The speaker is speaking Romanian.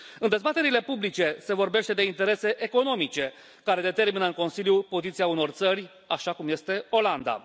În dezbaterile publice se vorbește de interese economice care determină în Consiliu poziția unor țări, așa cum este Olanda.